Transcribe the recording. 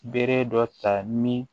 Bere dɔ ta ni